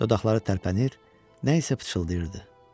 Dodaqları tərpənir, nə isə pıçıldayırdı.